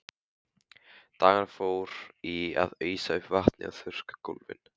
Dagurinn fór í að ausa upp vatni og þurrka gólfin.